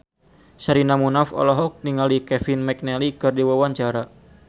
Sherina Munaf olohok ningali Kevin McNally keur diwawancara